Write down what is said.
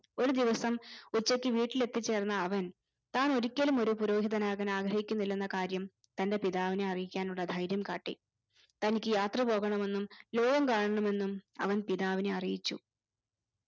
ഒരു ദിവസം ഉച്ചക്ക് വീട്ടിൽ എത്തിച്ചേർന്ന അവൻ താൻ ഒരിക്കലും ഒരു പുരോഹിതനാകാൻ ആഗ്രഹിക്കുന്നില്ലന്ന കാര്യം തന്റെ പിതാവിനെ അറിയിക്കാനുള്ള ദൈര്യം കാട്ടി തനിക്ക് യാത്ര പോകണമെന്നും ലോകം കാണാണമെന്നും അവൻ പിതാവിനെ അറിയിച്ചു